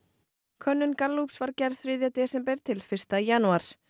könnun Gallups var gerð þriðja desember til fyrsta janúar